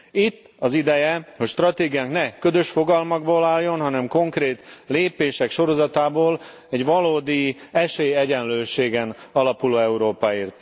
Itt az ideje, hogy stratégiánk ne ködös fogalmakból álljon, hanem konkrét lépések sorozatából, egy valódi esélyegyenlőségen alapuló Európáért.